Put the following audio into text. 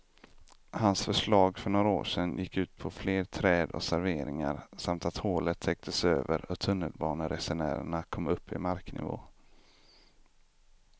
Hans förslag för några år sedan gick ut på fler träd och serveringar samt att hålet täcktes över och tunnelbaneresenärerna kom upp i marknivå.